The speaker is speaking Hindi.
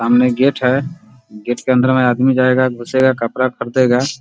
सामने गेट है गेट के अंदर में आदमी जायेगा घुसेगा कपड़ा खरीदेगा ।